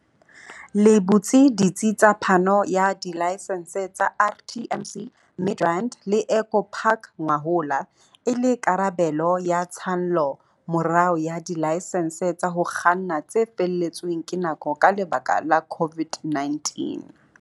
le butse ditsi tsa phano ya dilaesense tsa RTMC Midrand le Eco Park ngwahola, e le karabelo ya tshallomorao ya dilaesense tsa ho kganna tse felletsweng ke nako ka lebaka la COVID-19.